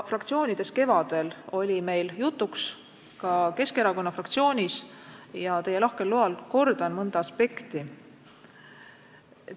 Fraktsioonides, ka Keskerakonna fraktsioonis oli meil see kevadel jutuks, teie lahkel loal kordan mõnda aspekti.